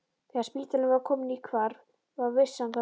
Þegar spítalinn var kominn í hvarf var vissan það líka.